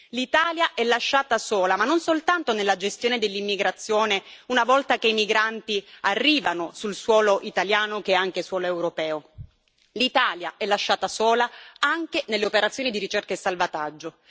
L'Italia è lasciata sola non soltanto nella gestione dell'immigrazione una volta che i migranti arrivano sul suolo italiano, che è anche suolo europeo, ma anche nelle operazioni di ricerca e salvataggio.